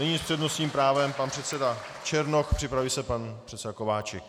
Nyní s přednostním právem pan předseda Černoch, připraví se pan předseda Kováčik.